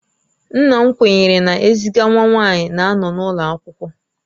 Nna m kwenyere na eziga nwa nwanyi na-anọ n'ulo akwụkwọ